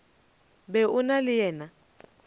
be o na le yena